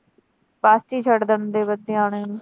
Bus ਚ ਈ ਛੱਡ ਦਿੰਦੇ ਬੱਚਿਆਂ ਨੂੰ।